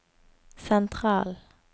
sentral